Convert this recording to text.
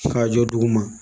K'a jɔ duguma